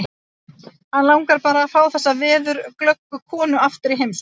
Hann langar bara til að fá þessa veðurglöggu konu aftur í heimsókn.